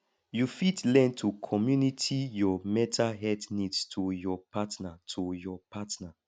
you fit learn to community your mental health needs to your partner to your partner